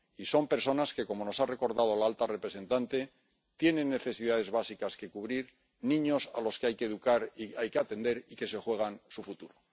Y son personas que, como nos ha recordado la alta representante, tienen necesidades básicas que cubrir, niños a los que hay que educar y atender y que se juegan su futuro.